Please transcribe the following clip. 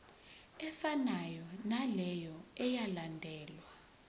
efanayo naleyo eyalandelwa